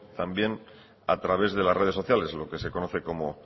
también a través las redes sociales lo que se conoce como